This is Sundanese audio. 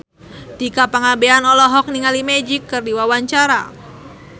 Tika Pangabean olohok ningali Magic keur diwawancara